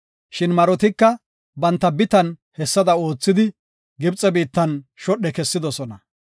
Shin marotika banta bitan hessada oothidi Gibxe biittan shodhe kesidosona.